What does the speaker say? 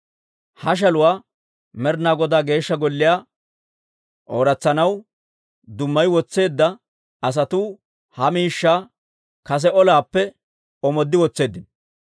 Ha shaluwaa Med'inaa Godaa Geeshsha Golliyaa ooratsanaw dummayi wotseedda asatuu ha miishshaa kase olaappe omooddi wotseeddino.